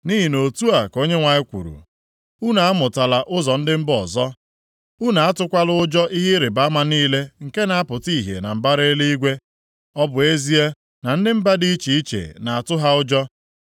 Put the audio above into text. Nʼihi na otu a ka Onyenwe anyị kwuru, “Unu amụtala ụzọ ndị mba ọzọ, unu atụkwala ụjọ ihe ịrịbama niile nke na-apụta ihe na mbara eluigwe, ọ bụ ezie na ndị mba dị iche iche na-atụ ha ụjọ.